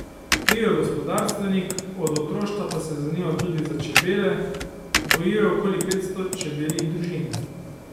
Bil je gospodarstvenik, od otroštva pa se je zanimal tudi za čebele, gojil je okoli petsto čebeljih družin.